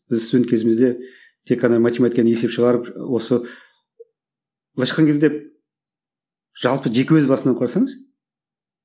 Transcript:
біз студент кезімізде тек қана математикадан есеп шығарып осы былайша айтқан кезде жалпы жеке өз басым алып қарасаңыз